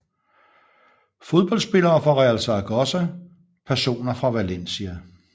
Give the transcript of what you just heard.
Fodboldspillere fra Real Zaragoza Personer fra Valencia